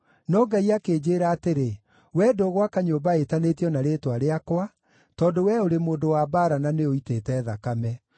No Ngai akĩnjĩĩra atĩrĩ, ‘Wee ndũgwaka nyũmba ĩtanĩtio na Rĩĩtwa rĩakwa, tondũ wee ũrĩ mũndũ wa mbaara na nĩũitĩte thakame.’